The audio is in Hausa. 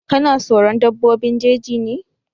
Ka na soron dabbobin jeji ne?